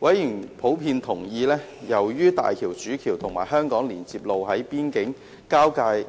委員普遍同意，由於大橋主橋和香港連接路在邊境的交接